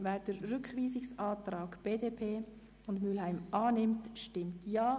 Wer diesen Antrag annimmt, stimmt Ja.